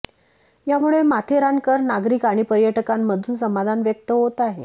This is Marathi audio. यामुळे माथेरानकर नागरिक आणि पर्यटकांमधून समाधान व्यक्त होत आहे